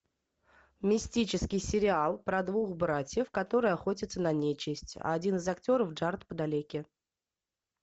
мистический сериал про двух братьев которые охотятся на нечисть один из актеров джаред падалеки